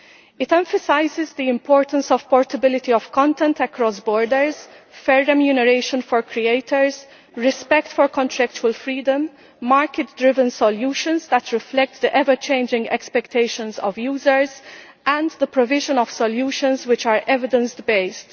It emphasises the importance of portability of content across borders, further remuneration for creators, respect for contractual freedom, market-driven solutions that reflect the ever-changing expectations of users, and the provision of solutions which are evidence based.